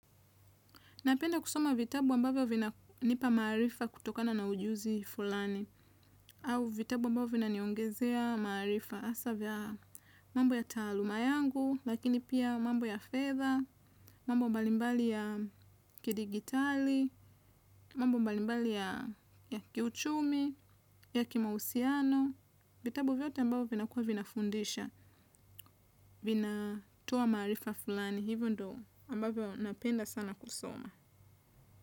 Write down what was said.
Napenda kusoma vitabu ambavyo vina nipa marifa kutokana na ujuzi fulani. Au vitabu ambavyo vina niongezea marifa asavya mambo ya taluma yangu, lakini pia mambo ya fedha, mambo mbalimbali ya kidigitali, mambo mbalimbali ya kiuchumi, ya kimawusiano. Vitabu vyote ambavyo vina kua vina fundisha, vina toa marifa fulani. Hivyo ndo ambavyo napenda sana kusoma.